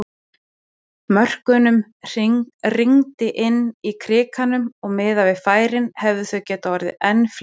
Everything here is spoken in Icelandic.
Mörkunum rigndi inn í Krikanum og miðað við færin hefðu þau getað orðið enn fleiri!